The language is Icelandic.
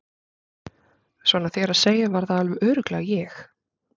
Svona þér að segja var það alveg örugglega ég